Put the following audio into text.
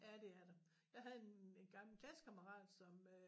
Ja det er der. Jeg havde en en gammel klassekammerat som øh